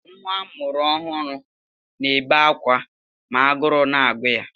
Nwa amụrụ ọhụrụ na-ebe akwa ma agụụ na-agụ ya.